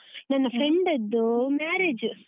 ನನ್ನ friend ಅದ್ದು marriage .